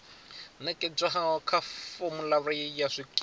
nekedzwaho kha formulary ya zwikimu